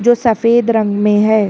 जो सफेद रंग में है।